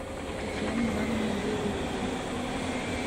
татьяна ивановна берникова